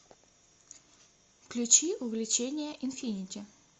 включи увлечение инфинити